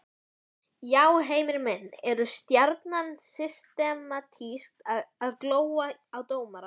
Já Heimir minn, eru Stjarnan systematískt að góla á dómarann?